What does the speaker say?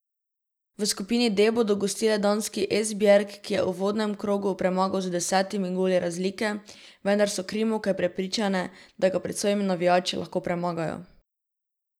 V skupini D bodo gostile danski Esbjerg, ki jih je v uvodnem krogu premagal z desetimi goli razlike, vendar so krimovke prepričane, da ga pred svojimi navijači lahko premagajo.